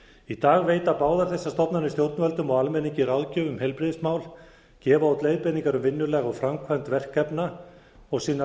í dag veita báðar þessar stofnanir stjórnvöldum og almenningi ráðgjöf um heilbrigðismál gefa út leiðbeiningar um vinnulag og framkvæmd verkefna og sinna